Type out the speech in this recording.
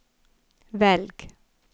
velg